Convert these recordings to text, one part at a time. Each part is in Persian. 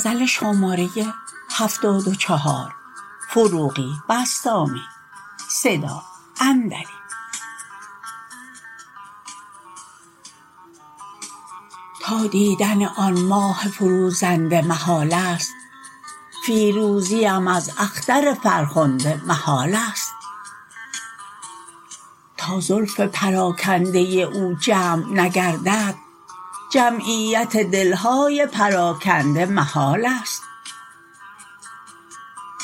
تا دیدن آن ماه فروزنده محال است فیروزی ام از اختر فرخنده محال است تا زلف پراکنده او جمع نگردد جمعیت دل های پراکنده محال است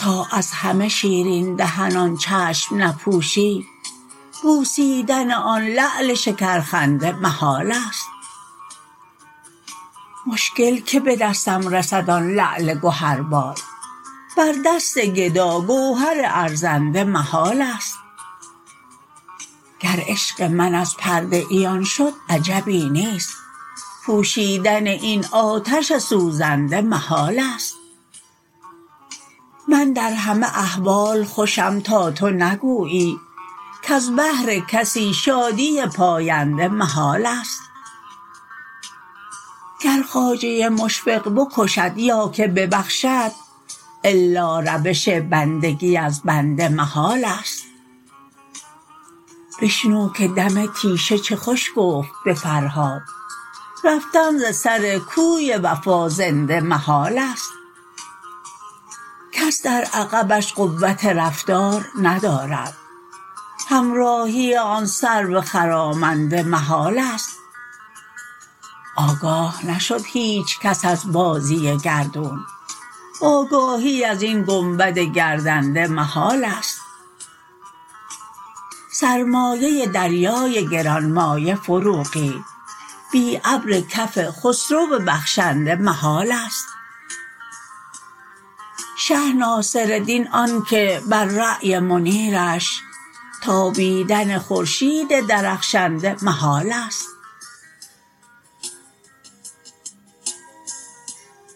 تا از همه شیرین دهنان چشم نپوشی بوسیدن آن لعل شکرخنده محال است مشکل که به دستم رسد آن لعل گهر بار بر دست گدا گوهر ارزنده محال است گر عشق من از پرده عیان شد عجبی نیست پوشیدن این آتش سوزنده محال است من در همه احوال خوشم تا تو نگویی کز بهر کسی شادی پاینده محال است گر خواجه مشفق بکشد یا که ببخشد الا روش بندگی از بنده محال است بشنو که دم تیشه چه خوش گفت به فرهاد رفتن ز سر کوی وفا زنده محال است کس در عقبش قوت رفتار ندارد همراهی آن سرو خرامنده محال است آگاه نشد هیچکس از بازی گردون آگاهی از این گنبد گردنده محال است سرمایه دریای گران مایه فروغی بی ابر کف خسرو بخشنده محال است شه ناصردین آن که بر رای منیرش تابیدن خورشید درخشنده محال است